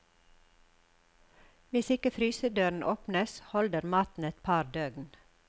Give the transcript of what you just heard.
Hvis ikke frysedøren åpnes, holder maten et par døgn.